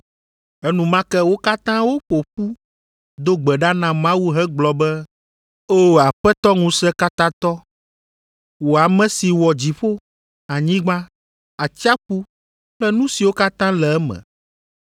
Enumake wo katã woƒo ƒu do gbe ɖa na Mawu hegblɔ be, “O Aƒetɔ Ŋusẽkatãtɔ, wò ame si wɔ dziƒo, anyigba, atsiaƒu kple nu siwo katã le eme.